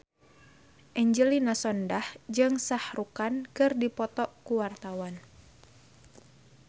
Angelina Sondakh jeung Shah Rukh Khan keur dipoto ku wartawan